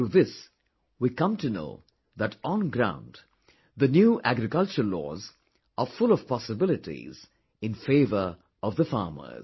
Through this, we come to know that on ground, the new agriculture laws are full of possibilities in favour of the farmers